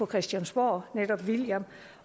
christiansborg